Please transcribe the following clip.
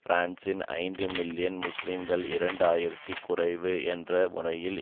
பிரான்சின் ஐந்து மில்லியன் முஸ்லிம்களில் இரண்டு ஆயிரத்தி குறைவு என்ற முறையில்